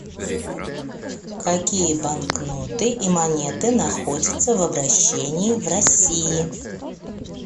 какие банкноты и монеты находятся в обращении в россии